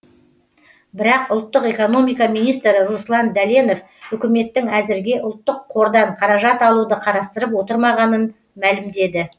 бірақ ұлттық экономика министрі руслан дәленов үкіметтің әзірге ұлттық қордан қаражат алуды қарастырып отырмағанын мәлімдеді